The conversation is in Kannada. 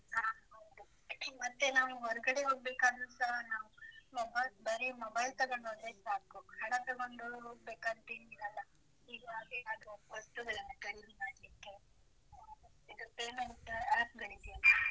ಹಾ ಹೌದು, ಮತ್ತೆ ನಾವು ಹೊರ್ಗಡೆ ಹೋಗ್ಬೇಕಾದ್ರೂಸ ನಾವು mobile ಬರೀ mobile ತಗೊಂಡೋದ್ರೆ ಸಾಕು, ಹಣ ತಗೊಂಡು ಹೋಗ್ಬೇಕಂತ ಏನ್ ಇರಲ್ಲ, ಹೀಗಾಗಿ ನಾವು ವಸ್ತುಗಳನ್ನು ಖರೀದಿ ಮಾಡ್ಲಿಕ್ಕೆ ಇದು payment app ಗಳಿದೆಯಲ್ಲ.